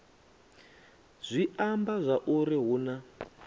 zwi amba zwauri hu na